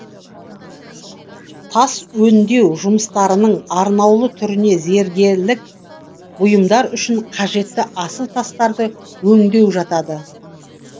тас өндеу жұмыстарының арнаулы түріне зергелік бұйымдар үшін қажетті асыл тастарды өңдеу жатады